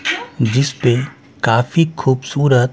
जिसपे काफी खूबसूरत--